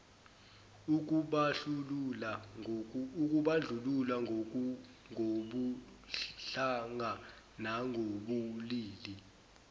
ukubandlulula ngobuhlanga nangobulili